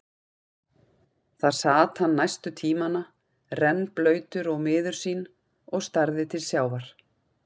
Þar sat hann næstu tímana, rennblautur og miður sín og starði til sjávar.